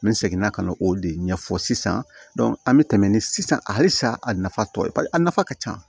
N bɛ segin ka na o de ɲɛfɔ sisan an bɛ tɛmɛ ni sisan alisa a nafa tɔ ye a nafa ka ca